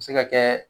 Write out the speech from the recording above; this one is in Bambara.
A bɛ se ka kɛ